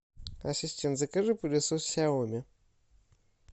ассистент закажи пылесос сяоми